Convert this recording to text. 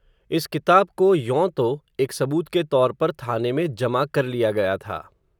इस किताब को, यों तो, एक सबूत के तौर पर थाने में जमा कर लिया गया था